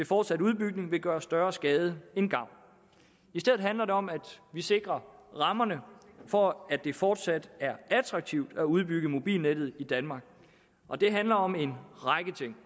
fortsat udbygning vil gøre større skade end gavn i stedet handler det om at vi sikrer rammerne for at det fortsat er attraktivt at udbygge mobilnettet i danmark og det handler om en række ting